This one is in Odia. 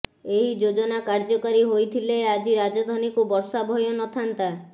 ଏହି ଯୋଜନା କାର୍ଯ୍ୟକାରୀ ହୋଇଥିଲେ ଆଜି ରାଜଧାନୀକୁ ବର୍ଷା ଭୟ ନଥାନ୍ତା